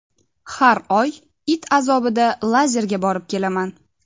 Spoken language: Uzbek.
Har oy it azobida lazerga borib kelaman.